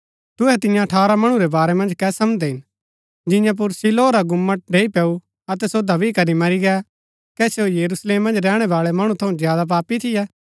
तुहै तियां अठारह मणु रै बारै मन्ज कै समझदै हिन जियां पुर शीलोह रा गुम्मट ढ़ैई पैऊ अतै सो दब्बी करी मरी गै कै सो यरुशलेम मन्ज रैहणै बाळै मणु थऊँ ज्यादा पापी थियै